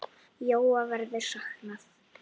Jóa verður saknað.